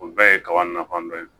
O bɛɛ ye kaba nafa dɔ ye